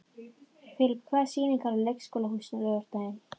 Filip, hvaða sýningar eru í leikhúsinu á laugardaginn?